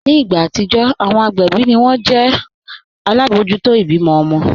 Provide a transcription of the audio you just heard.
Ní ìgbà atijọ́, awọn agbẹbi ni wọn ti o jẹ̀ alábojútò ibímọ̀ ọmọ̀